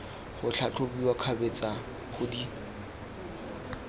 go tlhatlhobiwa kgabetsa go di